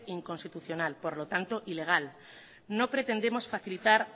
inconstitucional por lo tanto ilegal no pretendemos facilitar